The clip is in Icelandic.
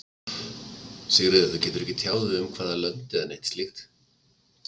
Sigríður: Þú getur ekki tjáð þig um hvaða lönd eða neitt slíkt?